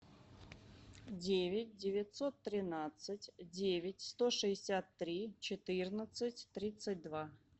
девять девятьсот тринадцать девять сто шестьдесят три четырнадцать тридцать два